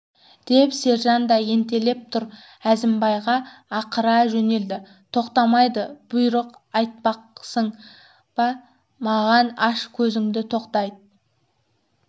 деп сержан да ентелеп тұр әзімбай ақыра жөнелді тоқтамайды бұйрық айтпақсың ба маған аш көзіңді тоқтайды